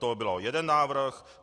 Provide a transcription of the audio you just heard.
To byl jeden návrh.